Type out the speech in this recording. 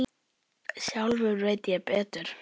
Sjálfur veit ég betur.